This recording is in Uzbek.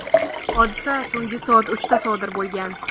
Hodisa tungi soat uchda sodir bo‘lgan.